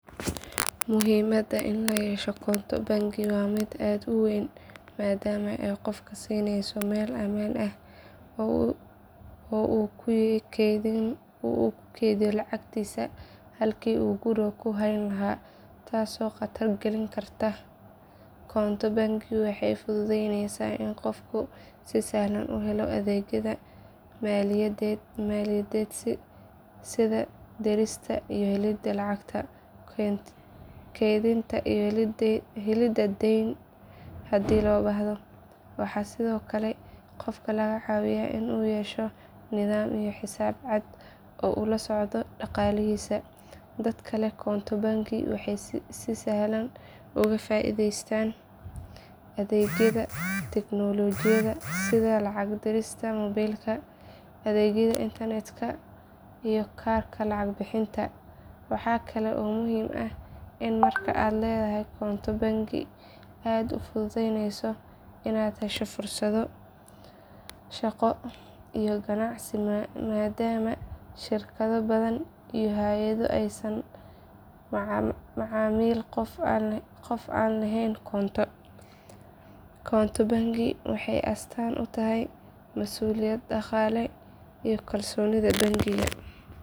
Muhiimadda in la yeesho koonto bangi waa mid aad u weyn maadaama ay qofka siinayso meel ammaan ah oo uu ku keydiyo lacagtiisa halkii uu guriga ku hayn lahaa taasoo khatar gelin karta. Koonto bangi waxay fududeyneysaa in qofku si sahlan u helo adeegyada maaliyadeed sida dirista iyo helidda lacagta, kaydinta, iyo helidda deyn haddii loo baahdo. Waxay sidoo kale qofka ka caawisaa inuu yeesho nidaam iyo xisaab cad oo uu la socdo dhaqaalihiisa. Dadka leh koonto bangi waxay si sahlan uga faa'iideystaan adeegyada tiknoolajiyada sida lacag dirista moobilka, adeegyada internetka iyo kaarka lacag bixinta. Waxaa kale oo muhiim ah in marka aad leedahay koonto bangi aad u fududaaneyso inaad hesho fursado shaqo iyo ganacsi maadaama shirkado badan iyo hay'ado aysan la macaamilin qof aan lahayn koonto. Koonto bangi waxay astaan u tahay mas'uuliyad dhaqaale iyo kalsoonida bangiyada.